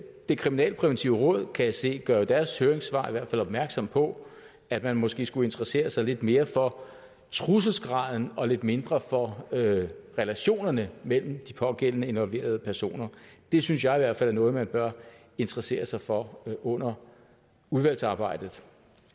det kriminalpræventive råd kan jeg se gør i deres høringssvar i hvert fald opmærksom på at man måske skulle interessere sig lidt mere for trusselsgraden og lidt mindre for relationerne mellem de pågældende involverede personer det synes jeg i hvert fald er noget man bør interessere sig for under udvalgsarbejdet